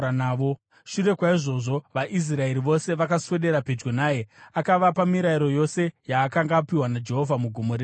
Shure kwaizvozvo vaIsraeri vose vakaswedera pedyo naye akavapa mirayiro yose yaakanga apiwa naJehovha muGomo reSinai.